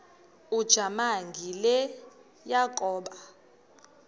ujamangi le yakoba